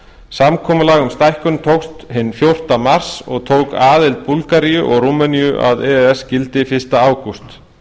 samkomulag um stækkun tókst hinn fjórtánda mars og tók aðild búlgaríu og rúmeníu að e e s gildi fyrsta ágúst